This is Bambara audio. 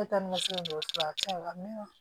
Ne taa ni n ka so dɔgɔso a cɛ la mɛn